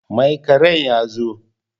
Mai ƙerin ya zo?